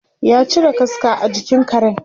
ya cire kaska a jikin Karen